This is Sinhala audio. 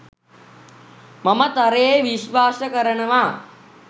මම තරයේ විශ්වාස කරනවා.